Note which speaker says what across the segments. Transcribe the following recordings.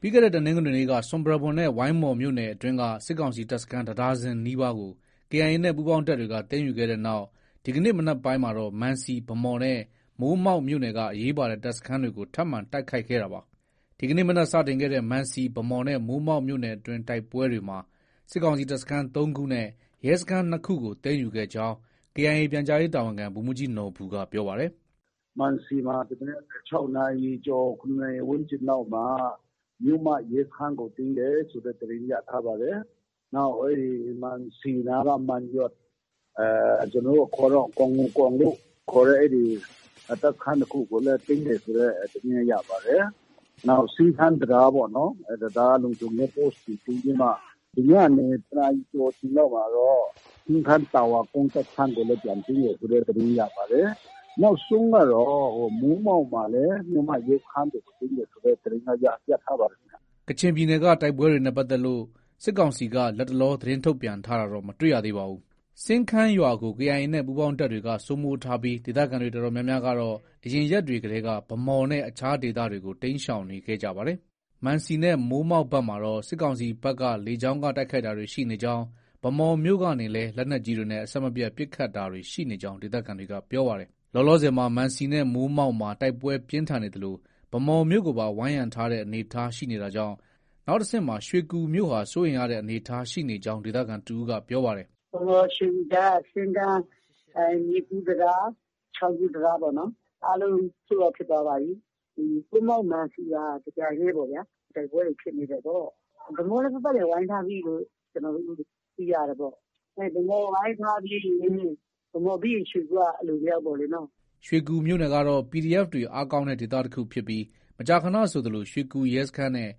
Speaker 1: ပြီးခဲ့တဲ့ တနင်္ဂနွေနေ့က ဆွမ်ပရာဘွမ်နဲ့ ဝိုင်းမော်မြို့နယ်အတွင်းက စစ်ကောင်စီတပ်စခန်း တဒါဇင်နီးပါးကို KIA နဲ့ ပူးပေါင်းတပ်တွေက သိမ်းယူခဲ့တဲ့နောက် ဒီကနေ့မနက်ပိုင်းမှာတော့ မံစီ၊ ဗန်းမော်နဲ့ မိုးမောက်မြို့နယ်က အရေးပါတဲ့ တပ်စခန်းတွေကို ထပ်မံတိုက်ခိုက်ခဲ့တာပါ။ ဒီကနေ့ မနက်စတင်ခဲ့တဲ့ မံစီ၊ ဗန်းမော်နဲ့ မိုးမောက်မြို့နယ်တွင်းတိုက်ပွဲတွေမှာ စစ်ကောင်စီတပ်စခန်း ၃ခုနဲ့ ရဲစခန်း ၂ခုကို သိမ်းယူခဲ့ကြောင်း KIA ပြန်ကြားရေးတာဝန်ခံ ဗိုလ်မှုးကြီးနော်ဘူက ပြောပါတယ်
Speaker 2: ။ “ မံစီမှာ ဒီမနက် ၆နာရီကျော် ၇နာရီ ဝန်းကျင်လောက်မှာ မြို့မ ရဲစခန်းကို သိမ်းတယ်ဆိုတဲ့ သတင်းရထား ပါတယ်။ နောက် မံစီနားက မံယွတ်၊ ကျနော်တို့ အခေါ်တော့ ဂေါ်ငူကောင်လို့ ခေါ်တဲ့ တပ်စခန်းတခုကိုလည်း သိမ်းတယ်ဆိုတဲ့ သတင်းရပါတယ်။ နောက် စင်းခန်းတံတားပေါ့နော်။ အဲဒီ တံတားလုံခြုံရေး Post ကို သိမ်းပြီးမှ ဒီညနေ တနာရီကျော်အချိန်လောက်မှာတော့ စင်းခန်းတာဝါကုန်း တပ်စခန်းကိုလည်း ပြန်သိမ်းတယ်ဆိုတဲ့ သတင်း ရပါတယ်။ နောက်ဆုံးကတော့ မိုးမောက်မှာလည်း မြို့မ ရဲစခန်းကို သိမ်းတယ်ဆိုတဲ့သတင်းတော့ ရထားပါတယ်ခင်ဗျ
Speaker 1: ။ ” ကချင်ပြည်နယ်က တိုက်ပွဲတွေနဲ့ ပတ်သက်လို့ စစ်ကောင်စီက လတ်တလော သတင်းထုတ်ပြန်တာတော့ မတွေ့ရသေးပါဘူး။ စင်းခန်းရွာကို KIA နဲ့ ပူးပေါင်းတပ်တွေက စိုးမိုးထားပြီး ဒေသခံတွေအတော်များများ ကတော့ အရင်ရက်တွေကတည်းက ဗန်းမော်နဲ့ အခြားဒေသတွေကို တိမ်းရှောင်တာတွေ ရှိနေပါတယ်။ မံစီနဲ့ မိုးမောက်ဘက်မှာတော့ စစ်ကောင်စီဘက်က လေကြောင်းက တိုက်ခိုက်တာတွေ ရှိနေကြောင်း ၊ ဗန်းမော်မြို့ကနေလည်း လက်နက်ကြီးတွေနဲ့ အဆက်မပြတ် ပစ်ခတ်တာတွေရှိနေကြာင်း ဒေသခံတွေက ပြောပါတယ်။ လောလောဆယ်မှာ မံစီနဲ့ မိုးမောက်မှာ တိုက်ပွဲပြင်းထန်နေသလို ဗန်းမော်မြို့ကိုပါ ဝိုင်းရံထားတဲ့ အနေအထားရှိနေတာကြောင့် နောက်တဆင့်မှာ ရွှေကူမြို့ဟာ စိုးရိမ်ရတဲ့ အနေအထားရှိနေကြောင်း ဒေသခံတဦးက ပြောပါတယ်
Speaker 3: ။ “ဗန်းမော်- ရွှေကူကြားက စင်းခန်း မြစ်ကူး တံတား၊ ချောင်းကူးတံတား အားလုံး Sold out ဖြစ်သွားပါပြီ။ မိုးမောက်၊ မံစီပါ တပြိုင်တည်းပေါ့ဗျာ။ တိုက်ပွဲတွေဖြစ်နေတယ်ပေါ့။ ဗန်းမော်လည်း ပတ်ပတ်လည် ဝိုင်းထားပြီလို့ ကျနော်တို့ သိရတယ်ပေါ့။ ဗန်းမော်ဝိုင်းထားပြီးရင် ၊ ဗန်းမော်ပြီးရင် ရွှေကူက အလိုလျောက် ပေ့ါလေနော။
Speaker 1: ” ရွှေကူမြို့နယ်ကတော့ PDF တွေ အားကောင်းတဲ့ဒေသတခုဖြစ်ပြီး မကြာခဏဆိုသလို ရွှေကူရဲစခန်းနဲ့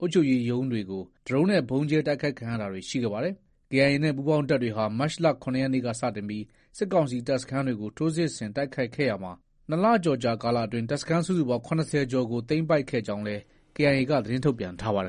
Speaker 1: အုပ်ချုပ်ရေးရုံးတွေကို ဒရုန်းနဲ့ ဗုံးကြဲတိုက်ခိုက်ခံရတာတွေ ရှိခဲ့ပါတယ်။ KIA နဲ့ ပူးပေါင်းတပ်တွေဟာ မတ်လ ၇ ရက်နေ့က စတင်ပြီး စစ်ကောင်စီတပ်စခန်းတွေကို ထိုးစစ်ဆင်တိုက်ခိုက်ခဲ့ရာမှာ ၂လကျော်ကာလအတွင်း တပ်စခန်းစုစုပေါင်း ၇၀ ကျော်ကို သိမ်းပိုက်ခဲ့ကြောင်းလည်း KIA က သတင်းထုတ်ပြန်ထားပါတယ်